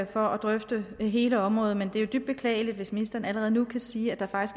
for at drøfte hele området men det er jo dybt beklageligt hvis ministeren allerede nu kan sige at der